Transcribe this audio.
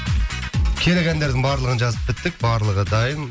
керек әндердің барлығын жазып біттік барлығы дайын